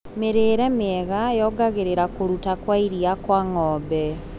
Mĩrĩire mĩega yongagĩrĩra kũruta kwa iria kwa ngombe.